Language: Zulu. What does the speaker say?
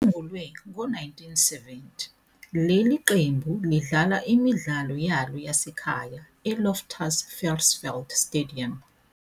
Isungulwe ngo-1970, leli qembu lidlala imidlalo yalo yasekhaya e-Loftus Versfeld Stadium.